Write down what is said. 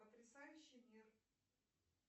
потрясающий мир